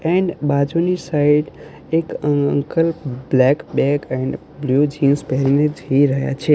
And બાજુની side એક uncle black bag and blue jeans પહેરીને જઈ રહ્યા છે.